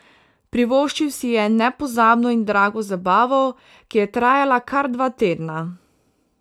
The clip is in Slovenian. Privoščil si je nepozabno in drago zabavo, ki je trajala kar dva tedna.